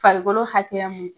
Farikolo hakɛya mun